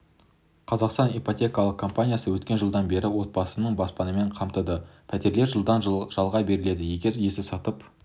қазақстан ипотекалық компаниясы өткен жылдан бері отбасын баспанамен қамтыды пәтерлер жылға жалға беріледі егер иесі сатып